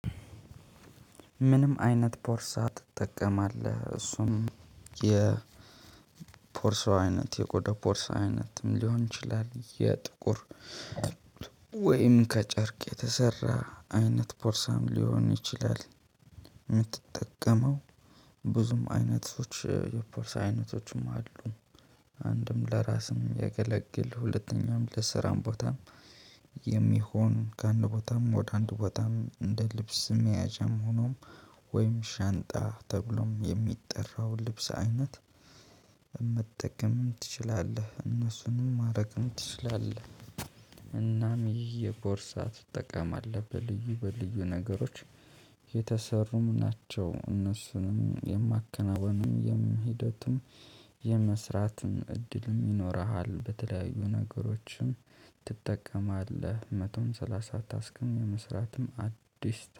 ምንም አይነት ቦርሳ ትጠቀማለህ እሱም የ ቦርሳው አይነት የቆዳ ቦርሳው አይነት ሊሆን ይችላል የጥቁር ወይም ከጨርቅ የተሰራ አይነት ቦርሳም ሊሆን ይችላል። የምትጠቀመው ብዙም አይነቶች የቦርሳ አይነቶችም አሉ። አንድም ለራስም የሚያገለግል ሁለተኛም ለስራም ቦታም የሚሆን ከአንድ ቦታም ወደ አንድ ቦታም እንደ ልብስ መያዣም ሆኖም ወይም ሻንጣ ተብሎም የሚጠራው ልብስ አይነት። መጠቀም ትችላለህ እነሱንም ማድረግም ትችላለህ። እናም የቦርሳ ትጠቀማለህ እናም በልዩ ልዩ ነገሮች የተሰሩም ናቸው። እነሱንም የማከናወንም ሂደቱን የመስራትን እድልም ይኖርሃል በተለያዩ ነገሮችም ትጠቀማለህ መቶም ሰላሳ ታስክም የመስራትም አዲስ